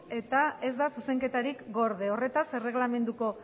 eta ez da zuzenketarik gorde horretaz erreglamenduko